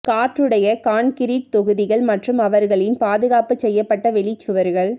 காற்றுடைய concrete தொகுதிகள் மற்றும் அவர்களின் பாதுகாப்பு செய்யப்பட்ட வெளி சுவர்கள்